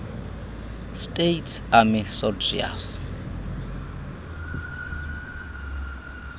states army soldiers